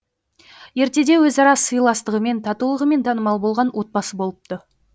ертеде өзара сыйластығымен татулығымен танымал болған отбасы болыпты